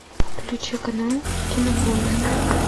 включи канал кинопоиск